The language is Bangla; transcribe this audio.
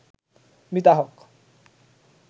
মিতা হক